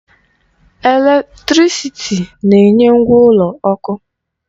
Eletrịsịtị na-enye ngwa ụlọ ọkụ.